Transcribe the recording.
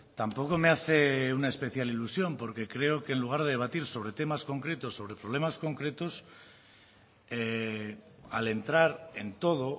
tampoco me hace una especial ilusión porque creo que en lugar de debatir sobre temas concretos sobre problemas concretos al entrar en todo